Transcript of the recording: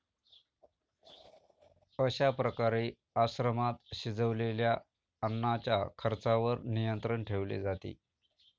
अशा प्रकारे आश्रमात शिजवलेल्या अन्नाच्या खर्चावर नियंत्रण ठेवले जाते